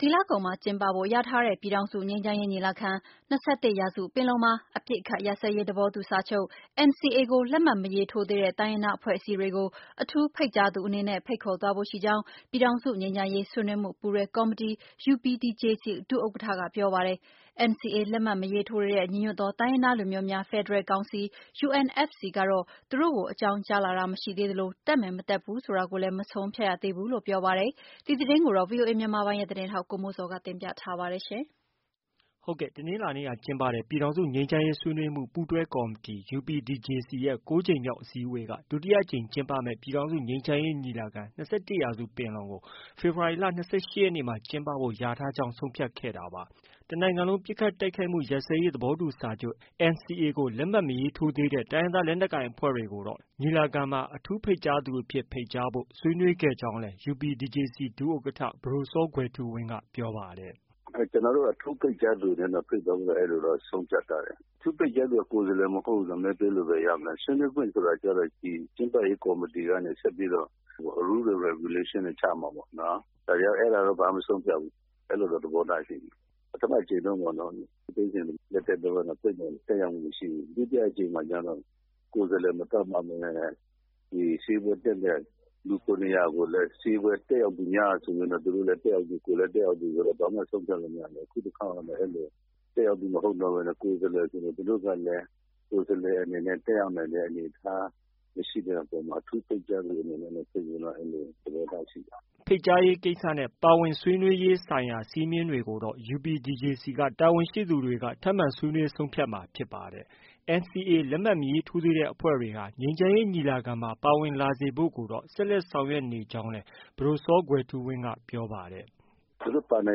ဒီလကုန်မှာ ကျင်းပဖို့ လျာထားတဲ့ ပြည်ထောင်စုငြိမ်းချမ်းရေးညီလာခံ- ၂၁ရာစုပင်လုံမှာ အပစ်အခတ်ရပ်စဲရေး သဘောတူစာချုပ် NCA ကိုလက်မှတ်မရေးထိုးသေးတဲ့ တိုင်းရင်းသားအဖွဲ့အစည်းအတွေကို အထူးဖိတ်ကြားသူအနေနဲ့ ဖိတ်ခေါ်သွားဖို့ရှိကြောင်း ပြည်ထောင်စု ငြိမ်းချမ်းရေး ဆွေးနွေးမှု ပူးတွဲကော်မတီ UPDJC ဒုဥက္ကဌက ပြောပါတယ်။ NCA လက်မှတ် မရေးထိုးတဲ့ ညီညွတ်သော တိုင်းရင်းသားလူမျိုးများ ဖယ်ဒရယ်ကောင်စီ UNFC ကတော့ သူတို့ကို အကြောင်းကြား လာတာမရှိသေး သလို တက်မယ်၊ မတက်ဖူးဆိုတာကိုလည်း မဆုံးဖြတ်ရသေးဘူးလို့ ပြောပါတယ်။ ဒီသတင်းကိုတော့ ဗွီအိုအေမြန်မာပိုင်းရဲ့ သတင်းထောက် ကိုမိုးဇော်က တင်ပြ ထားပါတယ်။ တနင်္လာနေ့က ကျင်းပတဲ့ ပြည်ထောင်စု ငြိမ်းချမ်းရေး ဆွေးနွေးမှု ပူးတွဲကော်မတီ UPDJC ၉ကြိမ်မြောက် အစည်းအဝေးက ဒုတိယအကြိမ်ကျင်းပမယ့် ပြည်ထောင်စု ငြိမ်းချမ်းရေးညီလာခံ- ၂၁ရာစုပင်လုံကို ဖေဖော်ဝါရီလ ၂၈ရက်နေ့မှာ ကျင်းပဖို့ လျာထားကြောင်း ဆုံးဖြတ်ခဲ့တာပါ။ တနိုင်ငံလုံးပစ်ခတ်တိုက်ခိုက်မှုရပ်စဲရေးသဘောတူစာချုပ် NCA စာချုပ်လက်မှတ် မရေးထိုးသေးတဲ့ တိုင်းရင်းသားလက်နက်ကိုင်အဖွဲ့တွေကိုတော့ ညီလာခံမှာ အထူးဖိတ်ကြားသူများအဖြစ် ဖိတ်ကြားဖို့ ဆွေးနွေးခဲ့ကြောင်း UPDJC ဒု-ဥက္ကဌ ပဒိုစောကွယ်ထူးဝင်း ပြောပါတယ်။ “ကျနော်တို့ကတော့ အထူးဖိတ်ကြားသူအနေနဲ့တော့ ဖိတ်မယ်လို့ ဆုံးဖြတ်ထားတယ်၊ အထူးဖိတ်ကြားသူက ကိုယ်စားလှယ်မဟုတ်ဘူး မဲပေးလို့ဘယ်ရမလဲ။ ဆွေးနွေးခွင့်ဆိုတာတော့ ကျင်းပရေးကော်မတီကနေ ဆက်ပြီးတော့ Rule and Regulation တွေချမှာပေါ့နော်၊ အဲဒါကတော့ ဘာမှ မဆုံးဖြတ်ရသေးဘူး အဲလိုတော့ သဘောထားရှိတယ်။ ပထမအကြိမ် ဦးသိန်းစိန်လက်ထက်တုန်းကတော့ တက်ရောက်ခွင့်မရှိဘူး။ ဒုတိယအကြိမ်တော့ ကိုယ်စားလှယ်မသတ်မှတ်ပဲနဲ့ ဒီအစည်းအဝေးတက်တဲ့ လူ ၇၀၀ ကိုလည်း အစည်းအဝေးတက်ရောက်သူများဆိုပြီးတော့ သူတို့လည်း တက်ရောက်သူ၊ ကိုယ်လည်း တက်ရောက်သူဆိုတော့ ဘာမှ ဆုံးဖြတ်လို့ မရသေးဘူး အခုတခေါက်ကတော့ တက်ရောက်သူမဟုတ်ပဲနဲ့ ကိုယ်စားလှယ်ဆိုတော့ သူတို့ဘက်က ကိုယ်စားလှယ်အနေနဲ့ တက်ရောက်နိုင်တဲ့အနေအထားမရှိရင် အထူးဖိတ်ကြားသူအနေနဲ့ ဖိတ်မယ်လို့ သဘောထားရှိတယ်။” ဖိတ်ကြားရေးကိစ္စနဲ့ ပါဝင်ဆွေးနွေးရေးဆိုင်ရာစည်းမျဉ်းတွေကိုတော့ UPDJC က တာဝန်ရှိသူတွေက ဆွေးနွေးဆုံးဖြတ်မယ်အခြေအနေရှိနေတာဖြစ်ပါတယ်။ NCA လက်မှတ်မရေးထိုးသေးတဲ့ အဖွဲ့တွေ ငြိမ်းချမ်းရေးညီလာခံမှာ ပါဝင်လာစေဖို့ကိုတော့ ဆက်လက် ဆောင်ရွက်နေကြောင်းလည်း ပဒိုစောကွယ်ထူးဝင်းက ပြောပါတယ်။ “ သူတို့ပါနို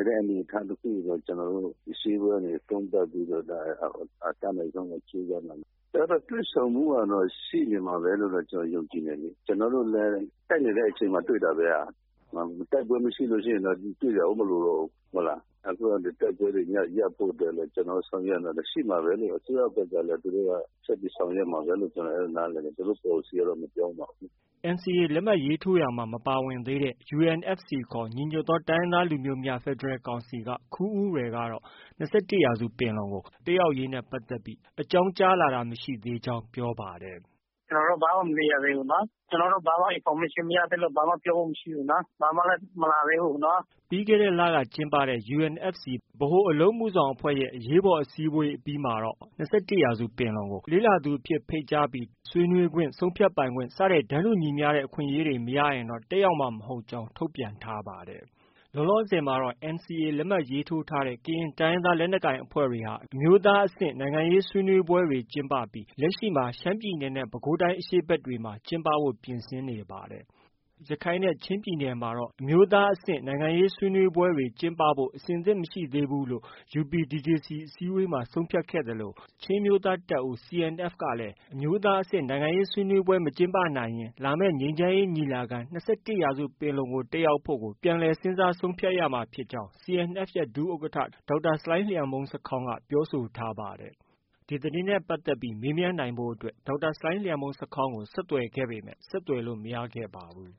င်တဲ့ အနေအထားတခုကို ကျနော်တို့ အစည်းအဝေးကနေ ဆုံးဖြတ်ပြီးတော့ အတတ်နိုင်ဆုံးတော့ ကြိုးစားမှာပါ။ တွေ့ဆုံမှုကတော့ ရှိမှာပဲလို့ ကျနော်ယုံကြည်တယ်လေ။ ကျနော်တို့လည်း တိုက်နေတဲ့အချိန်မှာ တွေ့တာပဲခင်ဗျ၊ တိုက်ပွဲမရှိရင်တော့ ကျနော်တို့ တွေ့ဖို့မလိုတော့ဘူး၊ အခုက တိုက်ပွဲတွေရပ်ဖို့အတွက် ကျနော်တို့လည်း ဆောင်ရွက်နေတယ်၊ ရှိမှာပဲ အစိုးရအဖွဲ့ကလည်း ဆက်ပြီးဆောင်ရွက်မှာပဲ လို့ ကျနော်နားလည်တယ်၊ သူတို့ ပေါ်လစီကတော့ မပြောင်းဘူး။” NCA လက်မှတ်ရေးထိုးရာမှာ မပါဝင်သေးတဲ့ UNFC ညီညွတ်သော တိုင်းရင်းသားလူမျိုးများ ဖယ်ဒရယ်ကောင်စီက ခူးဦးရယ်ကတော့ ၂၁ပင်လုံ တက်ရောက်ရေးနဲ့ ပတ်သက်ပြီး အကြောင်းကြား လာတာ မရှိသေးကြောင်း ပြောပါတယ်။ “ ကျနော်တို့ ဘာမှ မသိရသေးဘူး၊ ကျနော်တို့ ဘာမှ information မရသေးလို့ ဘာမှ ဖို့မရှိဘူး၊ ဘာမှလည်းမလာသေးဘူး။” ပြီးခဲ့တဲ့လကကျင်းပခဲ့တဲ့ UNFC ဗဟိုအလုပ်အမှုဆောင်အဖွဲ့ရဲ့ အရေးပေါ်အစည်းအဝေးအပြီးမှာတော့ ၂၁ပင်လုံကို လေ့လာသူအဖြစ်ဖိတ်ကြားပြီး တန်းတူညီမျှတဲ့ အခွင့်အရေးမရှိရင် တက်ရောက်မှာမဟုတ်ကြောင်း ထုတ်ပြန်ထားပါတယ်။ လောလောဆည်မှာတော့ NCA လက်မှတ်ရေးထိုးထားတဲ့ ကရင်တိုင်းရင်းသား လက်နက်ကိုင်အဖွဲ့ တွေဟာ အမျိုးသားအဆင့်နိုင်ငံရေးဆွေးနွေးပွဲတွေကျင်းပခဲ့ပြီး လက်ရှိရှမ်းပြည်နယ်နဲ့ ပဲခူးတိုင်းအရှေ့ဖက်တွေမှာ ကျင်းပဖို့ ပြင်ဆင်နေပါတယ်။ ရခိုင်နဲ့ ချင်းမှာတော့ အမျိုးသားအဆင့်နိုင်ငံရေးဆွေးနွေးပွဲကျင်းပဖို့ အဆင်သင့်မရှိသေးဘူးလို့ UPDJC အစည်းအဝေးမှာ ဆုံးဖြတ်ခဲ့သလို ချင်းအမျိုးသားတပ်ဦး CNF ကတော့ အမျိုးသားအဆင့်နိုင်ငံရေးဆွေးနွေးပွဲမကျင်းပနိုင်ရင် လာမယ့် ငြိမ်းချမ်းရေးညီလာခံ- ၂၁ရာစုပင်လုံက တက်ရောက်ဖို့ကို ပြန်လည် ဆုံးဖြတ်ရမှာဖြစ်ကြောင်း CNF ရဲ့ ဒုဥက္ကဌ ဒေါက်တာ ဆလိုင်းလံျမှုန်းဆာခေါင်းက ပြောဆိုထားပါတယ်။ ဒေါက်တာ ဆလိုင်းလံျမှုန်းဆာခေါင်းကို ဆက်သွယ်ခဲ့ပေမယ့် ဆက်သွယ်လို့ မရခဲ့ပါဘူး။